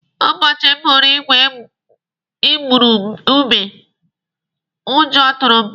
Ụbọchị m hụrụ igwe igurube, ụjọ tụrụ m.